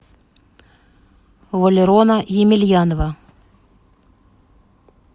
валерона емельянова